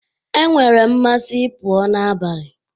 E nwere mmasị ị pụọ n'abalị